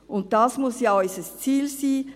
Und dies muss ja unser Ziel sein: